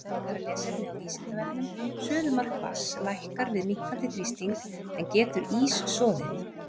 Frekara lesefni á Vísindavefnum: Suðumark vatns lækkar við minnkandi þrýsting, en getur ís soðið?